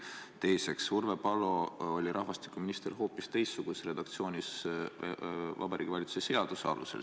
Teiseks, Urve Palo oli rahvastikuminister hoopis teistsuguses redaktsioonis Vabariigi Valitsuse seaduse alusel.